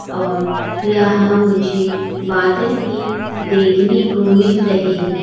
और यहां मुझे बादल भी देखने को मिल रहे--